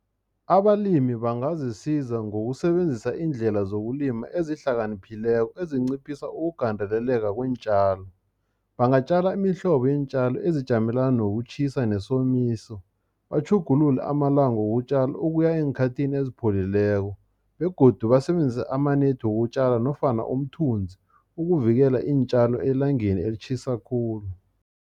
Abalimi bangazisiza ngokusebenzisa iindlela zokulima ezihlakaniphileko, ezinciphisa ukugandeleleka kweentjalo. Bangatjala imihlobo yeentjalo ezijamelana nokutjhisa, nesomiso. Batjhugulule amalanga wotjala ukuya eenkhathini esipholileko, begodu basebenzise amanethi wokutjala, nofana umthunzi, ukuvikela iintjalo elangeni elitjhisa khulu.